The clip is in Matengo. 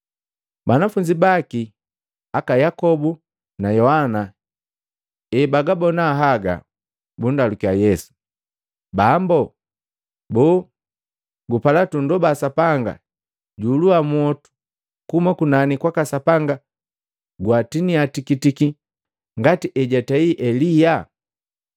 Banafunzi baki, aka Yakobu na Yohana ebagabona haga, bundalukiya Yesu, “Bambu, boo gupala tundoba Sapanga juhuluwa mwotu kuhuma kunani kwaka Sapanga gwatiniya tikitiki ngati ejatei Elia?”